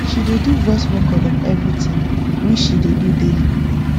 she dey do voice record of everything we she dey do daily